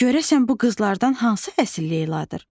Görəsən bu qızlardan hansı əsl Leyladır?